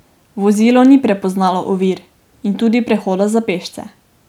Vozilo ni prepoznalo ovir in tudi prehoda za pešce.